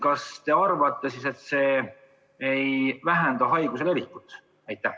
Kas te arvate, et see ei vähenda haiguse levikut?